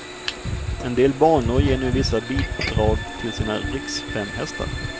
En del banor ger nu vissa bidrag till sina riksfemhästar.